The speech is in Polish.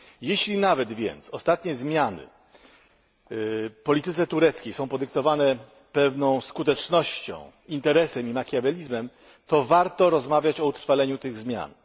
Jeśli więc nawet ostatnie zmiany w polityce tureckiej są podyktowane pewną skutecznością, interesem i makiawelizmem, to warto rozmawiać o utrwaleniu tych zmian.